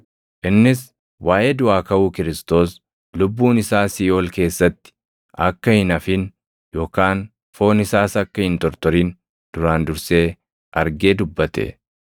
Innis waaʼee duʼaa kaʼuu Kiristoos + 2:31 yookaan Masiihichaa, lubbuun isaa siiʼool keessatti akka hin hafin, yookaan foon isaas akka hin tortorin duraan dursee argee dubbate.